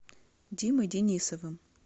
димой денисовым